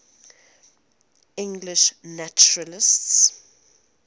english naturalists